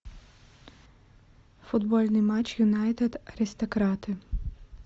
футбольный матч юнайтед аристократы